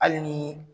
Hali ni